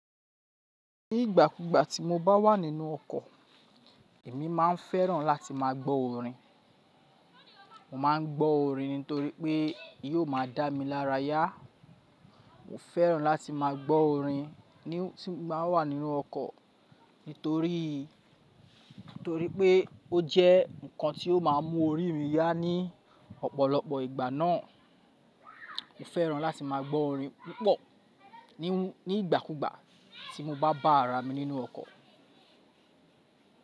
Ní ìgbà kúgbà tí mo bá wà nínú ọkọ̀, èmi máa ń fẹ́ràn láti má a gbọ́ orin. Mo má ń gbọ́ orin nítorí pé yóò má a dá mi lára yá. Mo fẹ́ràn láti má a gbọ́ orin ní tí mo bá wà nínú ọkọ̀ nítorií, torí pé ó jẹ́ ǹkan tí ó má a mú orí mi yá ní ọ̀pọ̀lọpọ̀ ìgbà náà. Mo fẹ́ràn láti má a gbọ́ orin púpọ̀ ní ìgbà kúgbà tí mo bá bá ara mi nínú ọkọ̀.